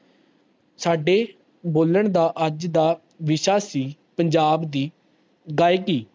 ਸਾਡੇ ਬੋਲਣ ਦਾ ਅੱਜ ਦਾ ਵਿਸ਼ਾ ਸੀ ਪੰਜਾਂਬ ਦੀ ਗਾਇਕੀ